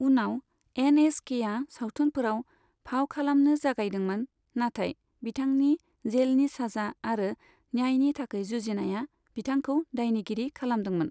उनाव N S केआ सावथुनफोराव फाव खालामनो जागायदोंमोन, नाथाय बिथांनि जेलनि साजा आरो न्यायनि थाखाय जुजिनाया बिदांखौ दायनिगिरि खालामदोंमोन।